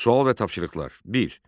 Sual və tapşırıqlar: Bir.